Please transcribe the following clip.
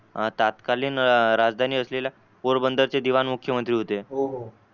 तात्कालीन राजधानी असलेल्या पोरबंदरचे दिवाण मुख्यमंत्री होते.